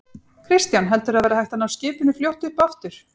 Kristján: Heldurðu að það verði hægt að ná skipinu fljótt upp aftur?